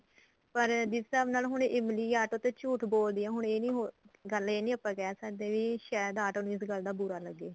ਪਰ ਜਿਸ ਹਿਸਾਬ ਨਾਲ ਹੁਣ ਇਮਲੀ ਆਟੋ ਤੇ ਝੂਠ ਬੋਲਦੀ ਏ ਹੁਣ ਇਹ ਨੀ ਗੱਲ ਇਹ ਨੀ ਆਪਾਂ ਕਹਿ ਸਕਦੇ ਕੀ ਸ਼ਾਇਦ ਆਟੋ ਨੂੰ ਇਸ ਗੱਲ ਦਾ ਬੁਰਾ ਲੱਗੇ